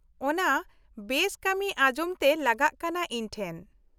-ᱚᱱᱟ ᱵᱮᱥ ᱠᱟᱹᱢᱤ ᱟᱡᱚᱢ ᱛᱮ ᱞᱟᱜᱟᱜ ᱠᱟᱱᱟ ᱤᱧ ᱴᱷᱮᱱ ᱾